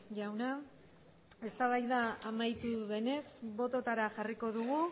jauna eztabaida amaitu denez bototara jarriko dugu